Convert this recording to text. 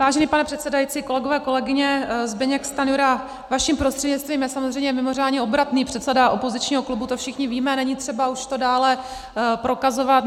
Vážený pane předsedající, kolegové, kolegyně, Zbyněk Stanjura, vaším prostřednictvím, je samozřejmě mimořádně obratný předseda opozičního klubu, to všichni víme, není třeba už to dále prokazovat.